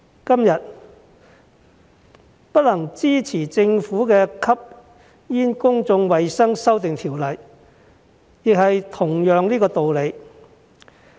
今天不能支持政府的《2019年吸煙條例草案》，亦是同樣的道理。